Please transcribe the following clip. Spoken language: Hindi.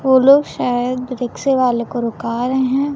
वो लोग शायद रिक्शे वाले को रुका रहे हैं।